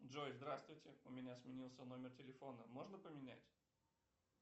джой здравствуйте у меня сменился номер телефона можно поменять